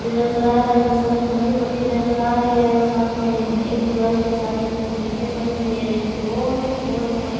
जो नजर आ रहा है वो सारी मटी मटी नजर आ रही है और साथ में एक दीवार के साथ ही कुछ ईंट पड़ी हुई है एक गोल सा कोलनुमा --